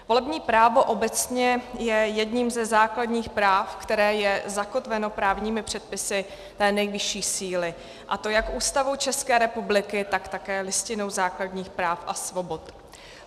Volební právo obecně je jedním ze základních práv, které je zakotveno právními předpisy té nejvyšší síly, a to jak Ústavou České republiky, tak také Listinou základních práv a svobod.